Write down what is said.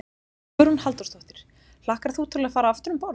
Hugrún Halldórsdóttir: Hlakkar þú til að fara aftur um borð?